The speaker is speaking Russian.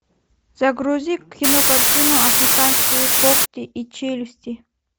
загрузи кинокартину африканские когти и челюсти